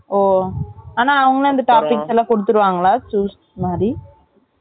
ஓ ஆனா அவங்களே அந்த topics எல்லாம் கொடுத்துருவங்களா choose மாரி